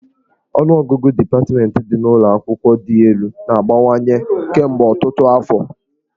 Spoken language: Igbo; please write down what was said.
Ọnụọgụgụ dipatmentị ndị dị n'ụlọ akwụkwọ dị elu na-abawanye kemgbe ọtụtụ afọ